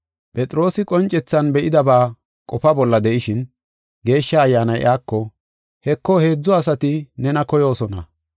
Phexroosi qoncethan be7idaba qofa bolla de7ishin, Geeshsha Ayyaanay iyako, “Heko, heedzu asati nena koyoosona.